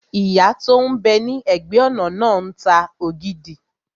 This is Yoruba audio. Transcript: Ìyá tó n bẹ ní ẹ̀gbẹ́-ọ̀nà náà ń ta ògidì